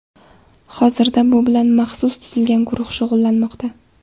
Hozirda bu bilan maxsus tuzilgan guruh shug‘ullanmoqda.